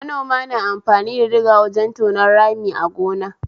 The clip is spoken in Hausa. Manoma na amfani da diga wajen tonon rami a gona